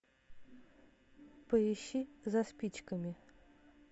поищи за спичками